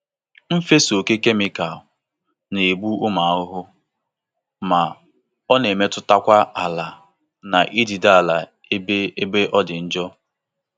Ịfesa ọkè kemịkalụ na-egbu ụmụ ahụhụ ma ọ na-emetụtakwa ala na idide ala ebe ebe ọdi njọ.